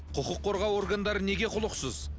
құқық қорғау органдары неге құлықсыз